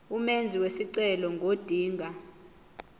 umenzi wesicelo ngodinga